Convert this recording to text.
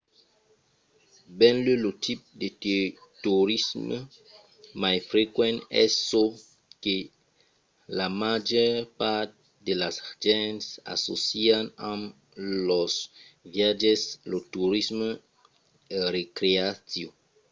benlèu lo tipe de torisme mai frequent es çò que la màger part de las gents assòcian amb los viatges: lo torisme recreatiu